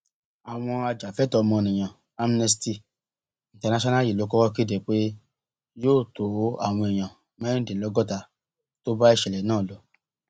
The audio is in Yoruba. àwọn ajàfẹtọọọmọnìyàn amnesty international yìí ló kọkọ kéde pé yóò tọ àwọn èèyàn mẹrìndínlọgọta tó bá ìṣẹlẹ náà lọ